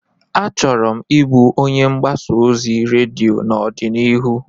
Achọrọ m ịbụ onye mgbasa ozi redio n'ọdịnihu.